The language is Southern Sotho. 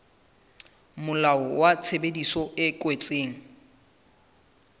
molao wa tshebedisano e kwetsweng